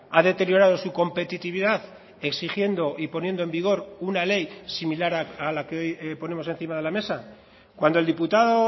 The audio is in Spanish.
ha deteriorado su competitividad exigiendo y poniendo en vigor una ley similar a la que hoy ponemos encima de la mesa cuando el diputado